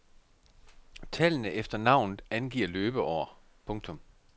Tallene efter navnet angiver løbeår. punktum